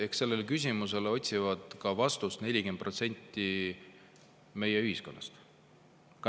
Eks sellele küsimusele otsib vastust 40% meie ühiskonnast.